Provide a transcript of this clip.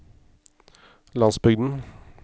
landsbygden